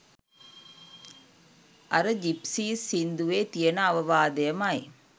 අර ජිප්සීස් සින්දුවේ තියෙන අවවාදයමයි.